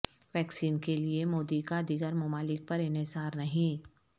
vaccine کیلئے مودی کا دیگر ممالک پر انحصار نہیں